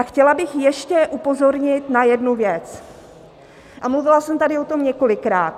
A chtěla bych ještě upozornit na jednu věc, a mluvila jsem tady o tom několikrát.